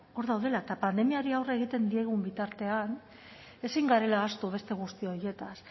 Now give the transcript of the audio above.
hor daudela eta pandemiari aurre egiten diogun bitartean ezin garela ahaztu beste guzti horietaz